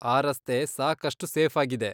ಆ ರಸ್ತೆ ಸಾಕಷ್ಟು ಸೇಫಾಗಿದೆ.